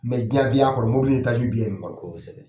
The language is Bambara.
jiyandenya mobili bɛɛ ye ni kɔnɔ kosɛbɛ.